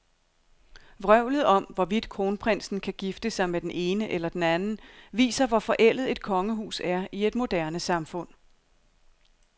Vrøvlet om, hvorvidt kronprinsen kan gifte sig med den ene eller den anden, viser, hvor forældet et kongehus er i et moderne samfund.